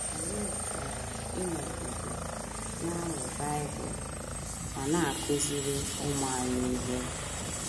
Anyị chọrọ ịnọgide na - amụ Bible ma na - akụziri ụmụ anyị ihe. ”